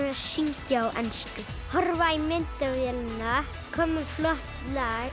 syngja á ensku horfa í myndavélina koma með flott lag